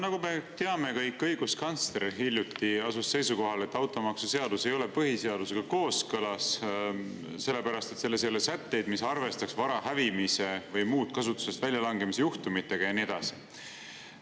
Nagu me kõik teame, asus õiguskantsler hiljuti seisukohale, et automaksuseadus ei ole põhiseadusega kooskõlas, sellepärast et selles ei ole sätteid, mis arvestaks vara hävimise või muude kasutusest väljalangemise juhtumitega, ja nii edasi.